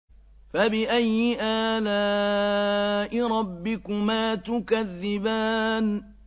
فَبِأَيِّ آلَاءِ رَبِّكُمَا تُكَذِّبَانِ